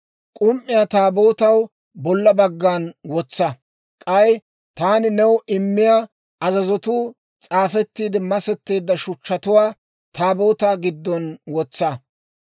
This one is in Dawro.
K'um"iyaa Taabootaw bolla baggan wotsa; k'ay taani new immiyaa azazatuu s'aafettiidde masetteedda shuchchatuwaa Taabootaa giddon wotsa.